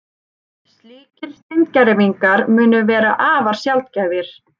Slíkir steingervingar munu vera afar sjaldgæfir